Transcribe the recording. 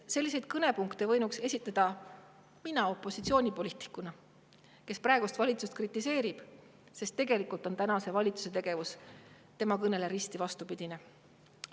Selliseid kõnepunkte võinuks esitada mina opositsioonipoliitikuna, kes praegust valitsust kritiseerib, sest tegelikult on valitsuse tegevus tema kõnes toodule risti vastupidine.